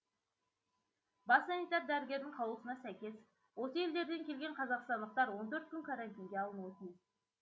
бас санитар дәрігердің қаулысына сәйкес осы елдерден келген қазақстандықтар он төрт күн карантинге алынуы тиіс